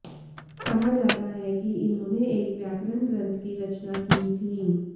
कहा जाता है कि इन्होंने एक व्याकरण ग्रंथ की रचना की थी